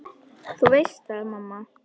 Þú veist það, mamma.